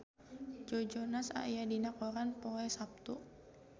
Joe Jonas aya dina koran poe Saptu